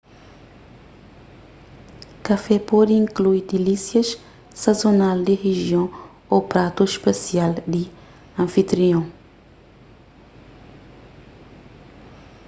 kafé pode inklui dilísias sazonal di rijion ô pratu spesial di anfitrion